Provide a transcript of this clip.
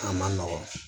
A ma nɔgɔ